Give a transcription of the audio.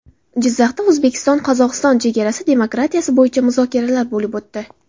Jizzaxda O‘zbekistonQozog‘iston chegarasi demarkatsiyasi bo‘yicha muzokaralar bo‘lib o‘tdi.